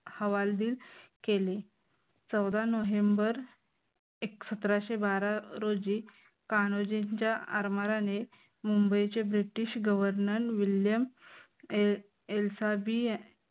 हवालदिल केले चौदा नोव्हेंबर सतराशे बारा रोजी कान्होजींच्या आरमाराने मुंबईचे british governor विल्यम एल्साबी